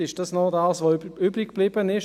«20 Minuten» ist das, was übriggeblieben ist.